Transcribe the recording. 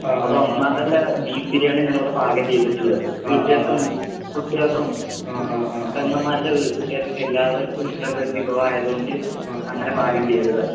അതെ ഒന്നാന്തരം ബീഫ് ബിരിയാണി തന്നെയാണ് ഇവിടെ പാകം ചെയ്തിട്ടുള്ളത്. ഉച്ചക്കും കുട്ടിയക്കും പെങ്ങമ്മാരുടെ വീട്ടക്കായലും എല്ലാവർക്കും ഇഷ്ടമുള്ള ഒരു വിഭവമായതുകൊണ്ട് അങ്ങനെ പാകം ചെയ്തതാണ്.